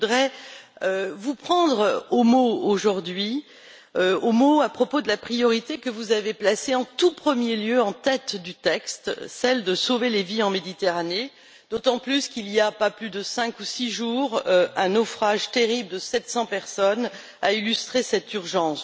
Je voudrais vous prendre au mot, aujourd'hui, à propos de la priorité que vous avez placée en tout premier lieu, en tête du texte, celle de sauver les vies en Méditerranée, d'autant plus qu'il y a à peine 5 ou 6 jours, un naufrage terrible de 700 personnes a illustré cette urgence.